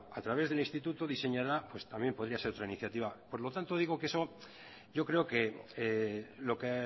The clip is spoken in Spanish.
a través del instituto diseñará pues también podría ser otra iniciativa por lo tanto digo que eso yo creo que lo que